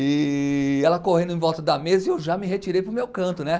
E ela correndo em volta da mesa e eu já me retirei para o meu canto, né?